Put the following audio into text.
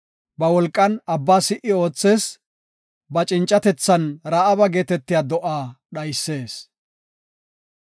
Ba wolqan abba si77i oothees; ba cincatethan Ra7aaba geetetiya do7aa dhaysees.